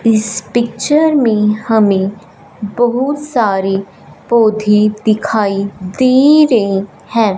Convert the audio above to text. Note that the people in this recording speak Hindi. इस पिक्चर में हमें बहुत सारे पौधे दिखाई दे रहे हैं।